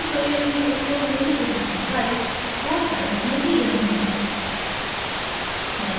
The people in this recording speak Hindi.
इस tutorial में उपयोग हुई उदाहरण files code files में दी गयी हैं